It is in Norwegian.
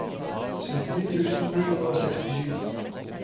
sekstini tusen ni hundre og sekstisju